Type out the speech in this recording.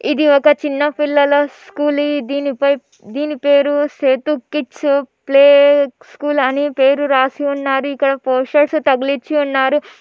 ఇది ఒక చిన్న పిల్లల స్కూల్ . దీనిపై దీని పేరు సేతు కిత్స ప్లెక్స్ స్కూల్ అని పేరు రాసిన నాటికకోశ తగిలించే నాలుగు--